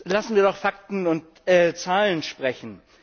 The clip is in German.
Lassen wir doch Fakten und Zahlen sprechen!